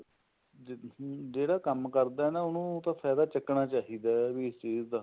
ਜਿਹੜਾ ਕੰਮ ਕਰਦਾ ਐ ਨਾ ਉਹਨੂੰ ਤਾਂ ਫਾਇਦਾ ਚੱਕਣਾ ਚਾਹੀਦਾ ਵੀ ਇਸ ਚੀਜ ਦਾ